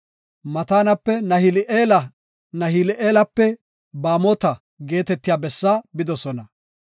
Maatanape Nahili7eela, Nahali7eelape Baamota geetetiya bessaa bidosona.